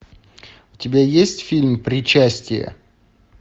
у тебя есть фильм причастие